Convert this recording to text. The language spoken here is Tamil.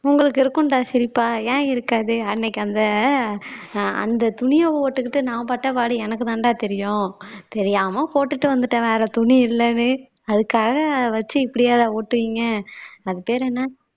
உங்களுக்கு இருக்கும்டா சிரிப்பா ஏன் இருக்காது அன்னைக்கு அந்த அந்த துணியை போட்டுக்கிட்டு நான் பட்ட பாடு எனக்குதான்டா தெரியும் தெரியாம போட்டுட்டு வந்துட்டேன் வேற துணி இல்லன்னு அதுக்காக வச்சு இப்படியாடா ஓட்டுவீங்க அது பேரு என்ன